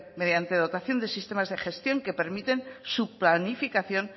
mediante dotación de sistemas de gestión que permiten su planificación